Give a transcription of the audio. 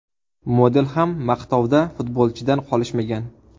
Model ham maqtovda futbolchidan qolishmagan.